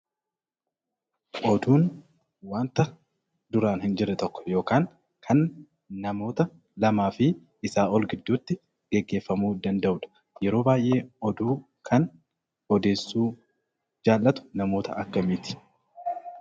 Oduun wanta duraan hin jirre tokko yokaan kan namoota lamaa fi isaa ol gidduutti geggeeffamuu danda'udha. Yeroo baay'ee oduu kan odeessuu jaallatu namoota akkamiiti?